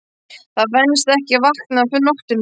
Það venst ekki að vakna á nóttunni.